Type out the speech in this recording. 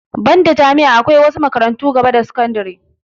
Banda jami'a akwai wasu makarantun gaba da sakandire